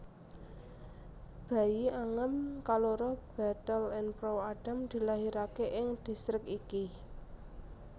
Bayi Angam kaloro Bethel Enproe Adam kalahiraké ing distrik iki